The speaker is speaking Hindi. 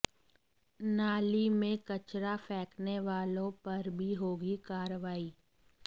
नाली में कचरा फेंकने वालों पर भी होगी कार्रवाई